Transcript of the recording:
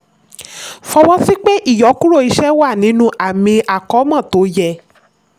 fọwọ́sí pé ìyọkúrò iṣẹ́ wà nínú àmì àkómọ́ tó yẹ.